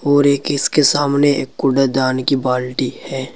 और एक इसके सामने एक कूड़े दान की बाल्टी है।